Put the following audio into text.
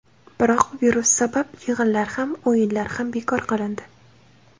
Biroq virus sabab yig‘inlar ham, o‘yinlar ham bekor qilindi.